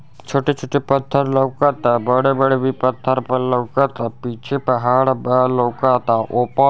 छोटे-छोटे पत्थर लउका ता| बड़े-बड़े भी पत्थर लउका ता| पीछे पहाड़ बा लउका ता ओ पर --